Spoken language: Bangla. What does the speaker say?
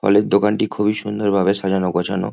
ফলের দোকানটি খুবই সুন্দর ভাবে সাজানো গোছানো।